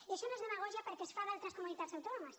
i això no és demagògia perquè es fa en d’altres comunitats autònomes